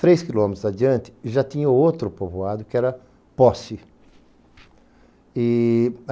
Três quilômetros adiante e já tinha outro povoado, que era Posse.